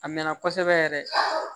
A mɛnna kosɛbɛ yɛrɛ